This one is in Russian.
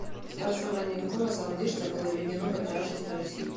в царствование какого самодержца было введено патриаршество в россии